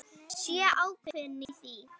Sé ákveðin í því.